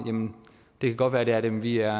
det kan godt være at det er det men vi er